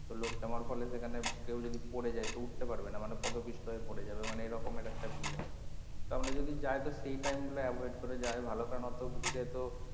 তো লোক জমার ফলে সেখানে যদি কেউ পড়ে যায় তো উঠতে পারবে না মানে পদপিষ্ট হয়ে পড়ে যাবে মানে এরকমের একটা ভিড় হয় তা আমরা যদি যাই তো সেই time গুলো avoid করে যাই ভালো কারন অতো ভিড়ে তো,